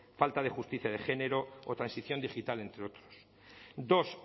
falta de justicia de género o transición digital entre otros dos